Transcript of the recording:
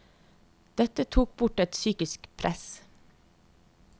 Dette tok bort et psykisk press.